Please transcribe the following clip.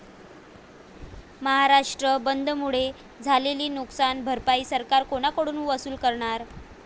महाराष्ट्र बंदमुळे झालेली नुकसान भरपाई सरकार कोणाकडून वसूल करणार?